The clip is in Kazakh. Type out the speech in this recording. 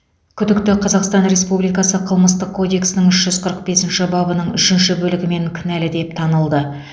күдікті қазақстан республикасы қылмыстық кодексінің үш жүз қырық бесінші бабының үшінші бөлігімен кінәлі деп танылды